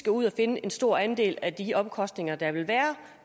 ud at finde en stor andel af de omkostninger der vil være